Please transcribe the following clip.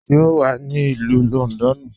Ṣé o wà ní Ilù Lọ́ndọ́nù?